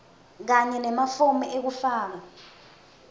kanye nemafomu ekufaka